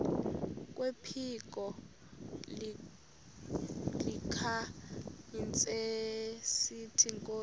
kwephiko likahintsathi inkosi